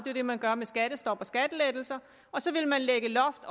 jo det man gør med skattestop og skattelettelser og så ville man lægge loft